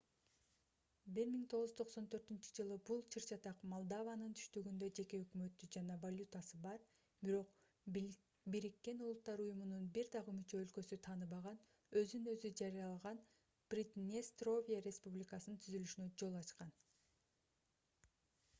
1994-жылы бул чыр-чатак молдованын түштүгүндө жеке өкмөтү жана валютасы бар бирок буунун бир дагы мүчө өлкөсү тааныбаган өзүн өзү жарыялаган приднестровье республикасынын түзүлүшүнө жол ачкан